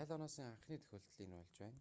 ял оноосон анхны тохиолдол энэ болж байна